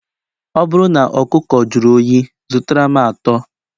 Ọ bụrụ na ọkụkọ jụrụ oyi, zụtara m atọ